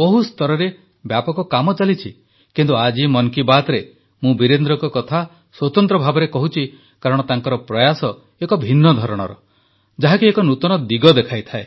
ବହୁ ସ୍ତରରେ ବ୍ୟାପକ କାମ ଚାଲିଛି କିନ୍ତୁ ଆଜି ମନ୍ କୀ ବାତ୍ରେ ମୁଁ ବୀରେନ୍ଦ୍ରଙ୍କ କଥା ସ୍ୱତନ୍ତ୍ର ଭାବେ କହୁଛି କାରଣ ତାଙ୍କର ପ୍ରୟାସ ଏକ ଭିନ୍ନ ଧରଣର ଯାହାକି ଏକ ନୂତନ ଦିଗ ଦେଖାଇଥାଏ